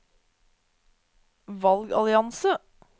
valgallianse